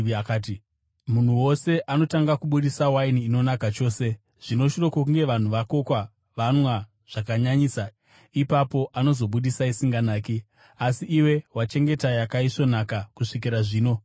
akati, “Munhu wose anotanga kubudisa waini inonaka chose, zvino shure kwokunge vanhu vakakokwa vanwa zvakanyanyisa, ipapo anozobudisa isinganaki; asi iwe wachengeta yakaisvonaka kusvikira zvino.”